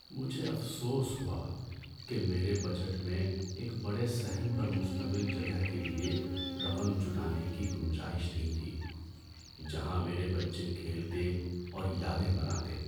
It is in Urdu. مجھے افسوس ہوا کہ میرے بجٹ میں ایک بڑے صحن پر مشتمل جگہ کے لیے رقم جٹانے کی گنجائش نہیں تھی جہاں میرے بچے کھیلتے اور یادیں بناتے۔